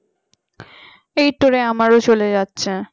এই তোরে আমারও চলে যাচ্ছে